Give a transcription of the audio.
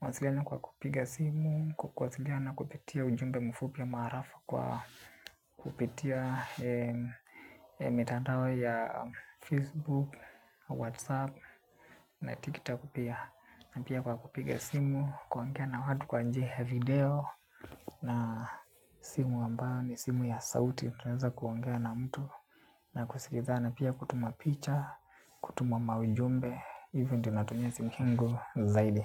Mawasiliano kwa kupiga simu, kwa kuwasiliana kupitia ujumbe mfupi ama arafa kwa kupitia mitandao ya Facebook, Whatsapp na TikTok pia. Na pia kwa kupige simu, kuongea na watu kwa njia ya video na simu ambayo ni simu ya sauti, tunaeza kuongea na mtu na kusikizana pia kutuma picha, kutuma maujumbe. Hivyo ndo natumia simu yangu zaidi.